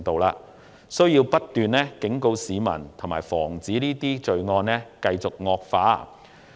政府有需要不斷忠告市民，以防罪案繼續惡化。